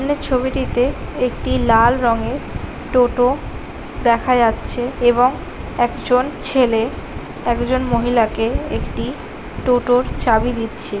ছবিটিতে একটি লাল রঙের টোটো দেখা যাচ্ছে | এবং একজন ছেলে একজন মহিলাকে একটি টোটা -র চাবি দিচ্ছে ।